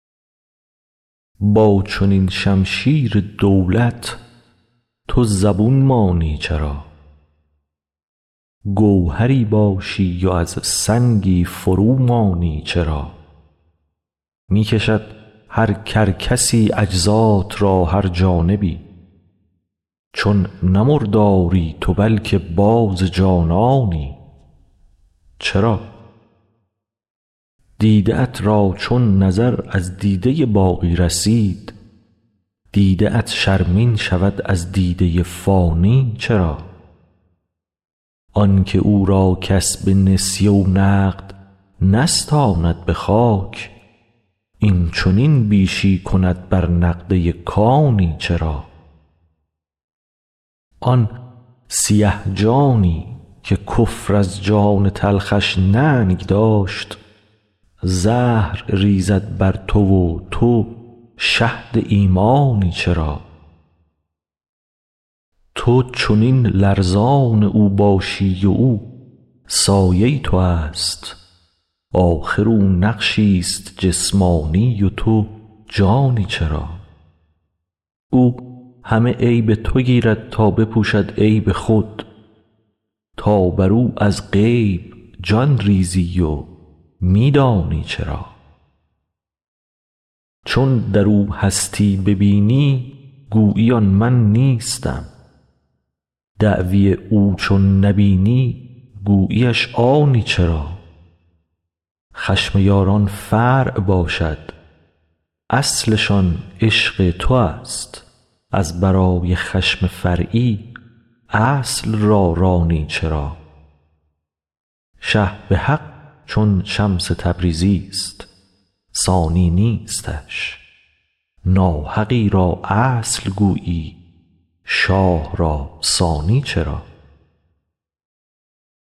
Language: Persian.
با چنین شمشیر دولت تو زبون مانی چرا گوهری باشی و از سنگی فرومانی چرا می کشد هر کرکسی اجزات را هر جانبی چون نه مرداری تو بلک باز جانانی چرا دیده ات را چون نظر از دیده ی باقی رسید دیده ات شرمین شود از دیده ی فانی چرا آن که او را کس به نسیه و نقد نستاند به خاک این چنین بیشی کند بر نقده ی کانی چرا آن سیه جانی که کفر از جان تلخش ننگ داشت زهر ریزد بر تو و تو شهد ایمانی چرا تو چنین لرزان او باشی و او سایه توست آخر او نقشیست جسمانی و تو جانی چرا او همه عیب تو گیرد تا بپوشد عیب خود تو بر او از غیب جان ریزی و می دانی چرا چون در او هستی ببینی گویی آن من نیستم دعوی او چون نبینی گویی اش آنی چرا خشم یاران فرع باشد اصلشان عشق نوست از برای خشم فرعی اصل را رانی چرا شه به حق چون شمس تبریزیست ثانی نیستش ناحقی را اصل گویی شاه را ثانی چرا